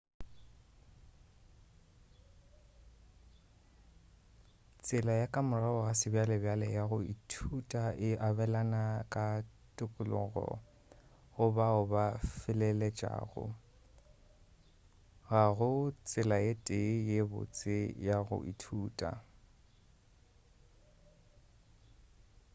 tsela ya ka morago ga sebjalebjale ya go ithuta e abelana ka tokologo go bao ba feleletšego ga go tsela ye tee ye botse ya go ithuta